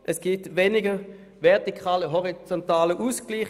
Es gibt weniger vertikalen und horizontalen Ausgleich.